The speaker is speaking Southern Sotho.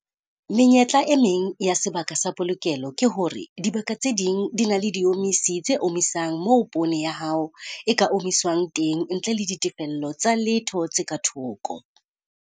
Menyetla e meng ya sebaka sa polokelo ke hore dibaka tse ding di na le diomisi tse omisang moo poone ya hao e ka omiswang teng ntle le ditefello tsa letho tse ka thoko.